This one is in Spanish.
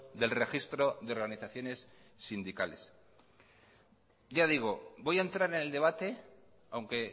del registro de organizaciones sindicales ya digo voy a entrar en el debate aunque